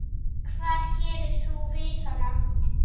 Hvað gerir þú við hana?